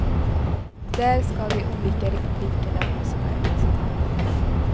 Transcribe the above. Där ska de olika republikerna ha sina representanter.